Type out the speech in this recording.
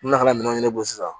N na ka minɛnw ɲɛn'o kan sisan